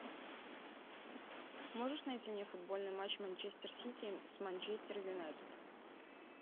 можешь найти мне футбольный матч манчестер сити с манчестер юнайтед